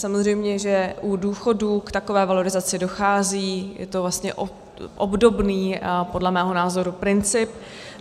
Samozřejmě že u důchodů k takové valorizaci dochází, je to vlastně obdobný, podle mého názoru, princip.